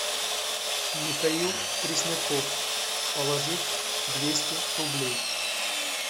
михаил пресняков положить двести рублей